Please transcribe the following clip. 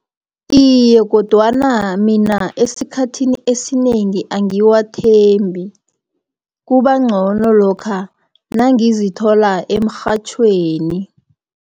Iye, kodwana mina esikhathini esinengi angiwathembi, kubangcono lokha nangizithola emrhatjhweni.